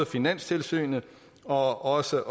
finanstilsynet og også